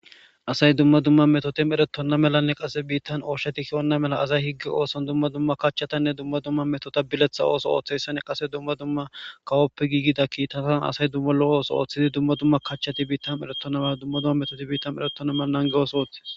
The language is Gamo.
asay dumma dumma metoti meretonna melanne qase biittan ooshetikki onna mela asay higge ooson dumma dumma kachchatanne dumma dumma metota biletha ooso ooththeyssane qase dumma dumma kawoppe giigida kiittatan asay dumma lo7o ooso ooththidi dumma dumma kachchati biittam eretonna me dumma dumma metoti biittan eretonna melanange ooso ooththe